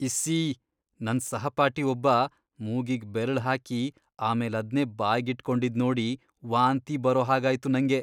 ಇಸ್ಸೀ... ನನ್ ಸಹಪಾಠಿ ಒಬ್ಬ ಮೂಗಿಗ್ ಬೆರ್ಳ್ ಹಾಕಿ ಆಮೇಲದ್ನೇ ಬಾಯ್ಗಿಟ್ಕೊಂಡಿದ್ನೋಡಿ ವಾಂತಿ ಬರೋ ಹಾಗಾಯ್ತು ನಂಗೆ.